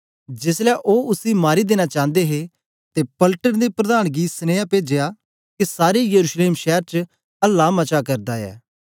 जेसलै ओ उसी मारी देना चांदे हे ते पलटन दे प्रधान गी सनिया पूजया के सारे यरूशलेम शैर च अहला मचा करदा ऐ